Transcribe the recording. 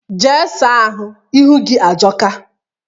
Jee saa ahụ, ihu gị ajọka!